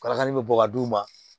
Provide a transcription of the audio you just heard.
Kalakali bɛ bɔ ka d'u ma